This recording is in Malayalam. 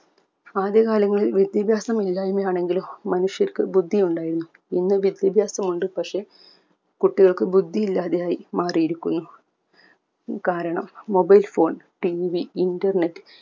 ആദ്യ കാലങ്ങളിൽ വിദ്യാഭ്യാസമില്ലായിമ ആണെങ്കിലും മനുഷ്യർക്ക് ബുദ്ധി ഉണ്ടായിരുന്നു ഇന്ന് വിദ്യാഭ്യാസം ഉണ്ട് പക്ഷെ കുട്ടികൾക് ബുദ്ധി ഇല്ലാതെയായി മാറിയിരിക്കുന്നു കാരണം mobile phoneTVinternet